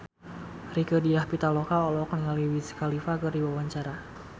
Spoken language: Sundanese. Rieke Diah Pitaloka olohok ningali Wiz Khalifa keur diwawancara